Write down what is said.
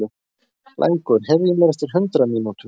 Blængur, heyrðu í mér eftir hundrað mínútur.